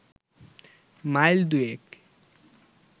mile দুয়েক